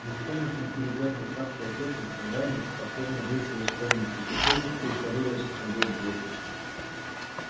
беспомощно теребя в руках платочек мелани покорно вышла из комнаты и тихонько притворила за собой дверь